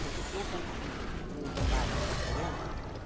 Porque tinha acontecido que tinham roubado uma criança para.